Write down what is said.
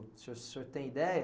O senhor senhor tem ideia?